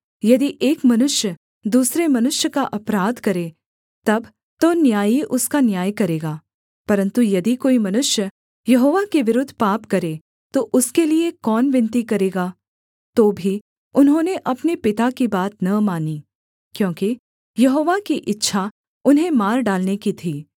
यदि एक मनुष्य दूसरे मनुष्य का अपराध करे तब तो न्यायी उसका न्याय करेगा परन्तु यदि कोई मनुष्य यहोवा के विरुद्ध पाप करे तो उसके लिये कौन विनती करेगा तो भी उन्होंने अपने पिता की बात न मानी क्योंकि यहोवा की इच्छा उन्हें मार डालने की थी